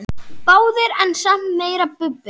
Báðir en samt meira Bubbi.